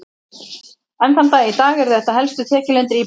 Enn þann dag í dag eru þetta helstu tekjulindir íbúanna.